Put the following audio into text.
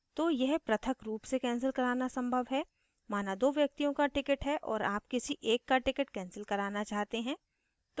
तो यह पृथक रूप से cancel कराना संभव है माना दो व्यक्तियों का ticket है और आप किसी एक का ticket cancel कराना चाहते हैं